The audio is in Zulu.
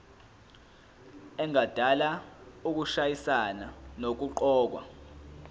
engadala ukushayisana nokuqokwa